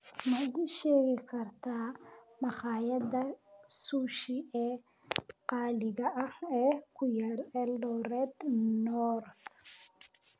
ma ii sheegi kartaa makhaayadaha sushi ee qaaliga ah ee ku yaal eldoret north